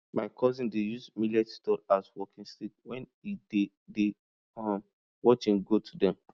my cousin dey use millet stalk as walking stick when e dey dey um watch hin goat dem